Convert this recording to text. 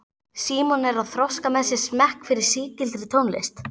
Símon er að þroska með sér smekk fyrir sígildri tónlist.